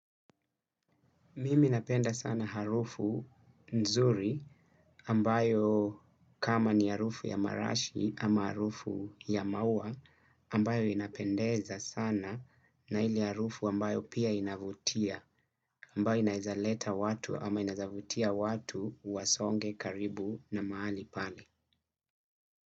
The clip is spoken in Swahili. Mimi napenda sana harufu nzuri ambayo, kama ni harufu ya marashi ama harufu ya maua ambayo inapendeza sana na ile harufu ambayo pia inavutia ambayo inaweza leta watu ama inawezavutia watu wasonge karibu na mahali pale.